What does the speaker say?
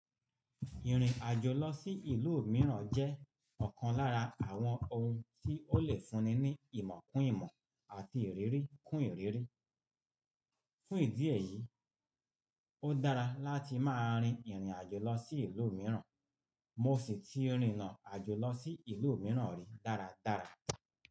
Ìrìn àjò lọ sí ìlú mìíràn jẹ́ ọ̀kan lára àwọn ohun tí ó lè fúnni ní ìmọ̀ kún ìmọ̀ àti ìrírí kún ìrírí. Fún ìdí èyí, ó dára láti máa rin ìrìn àjò lọ sí ìlú mìíràn. Mo sì ti rinna àjò lọ sí ìlú mìíràn rí dáradára.